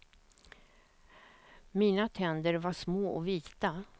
Mina tänder var små och vita.